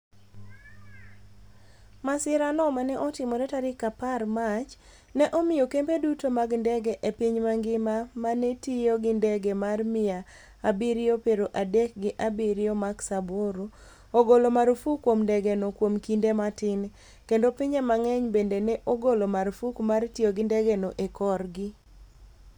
Masirano ma ne otimore tarik apar Mach, ne omiyo kembe duto mag ndege e piny mangima ma ne tiyo gi ndege mar mia abirio pero adek gi abiriyo max aboro ogolo marfuk kuom ndegeno kuom kinde matin, kendo pinje mang'eny bende ne ogolo marfuk mar tiyo gi ndegeno e korgi.